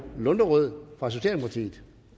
lunderød fra socialdemokratiet